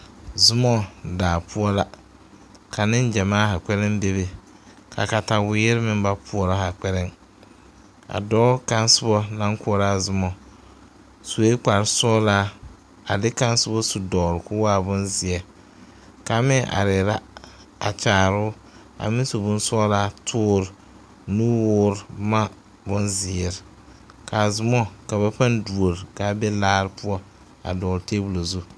Zuma daa poɔ la, ka nengyamaa bebe ka katawiri meŋ ba poɔrɔ a dɔɔ kaŋ naŋ koɔrɔ a Zuma sue kpare sɔglaa a de kaŋa soba su dɔgeli kɔɔ waa bonzeɛ kaŋ. meŋ are la a kyaare o a meŋ su bonsɔglaa tɔɔre nuwɔɔr bonzeɛre ka a Zuma ka ba paa duori ka a be laa poɔ a be tabol zu.